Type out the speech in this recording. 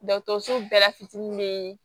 Dɔgɔtɔrɔso bɛɛ la fitinin bee